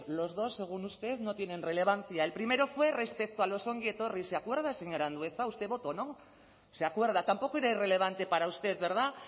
los dos según usted no tienen relevancia el primero fue respecto a los ongi etorris se acuerda señor andueza usted votó no se acuerda tampoco era irrelevante para usted verdad